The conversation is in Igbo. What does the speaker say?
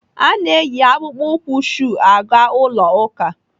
A na-eyi akpụkpọ ụkwụ shuu aga ụlọ ụka.